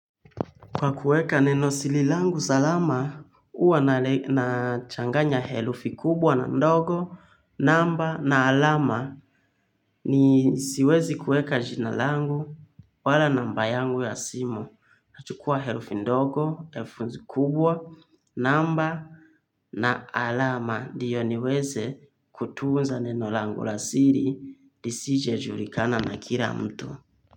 Kwa kuweka neno siri langu salama, huwa na changanya herufi kubwa na ndogo, namba na alama, siwezi kuweka jina langu wala namba yangu ya simu. Nachukua herufi ndogo, herufi kubwa, namba na alama ndiyo niweze kutunza neno langu la siri isije julikana na kila mtu.